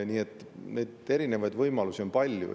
Nii et neid erinevaid võimalusi on palju.